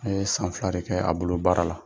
A ye san fila de kɛ a bolo baara la.